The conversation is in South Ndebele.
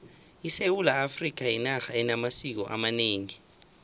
isewula afrikha yinarha enamasiko amanengi